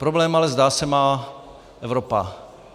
Problém ale, zdá se, má Evropa.